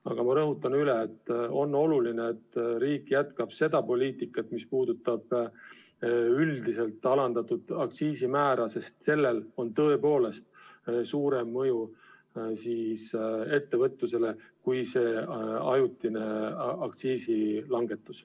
Aga ma rõhutan üle: on oluline, et riik jätkab seda poliitikat, mis puudutab üldiselt alandatud aktsiisimäära, sest sellel on tõepoolest ettevõtlusele suurem mõju kui sellel ajutisel aktsiisi langetusel.